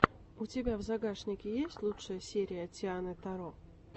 у тебя в загашнике есть лучшая серия тианы таро